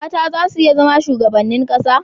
mata za su iya zama shugabannin ƙasa